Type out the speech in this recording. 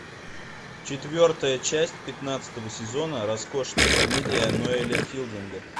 четвертая часть пятнадцатого сезона роскошная комедия ноэля филдинга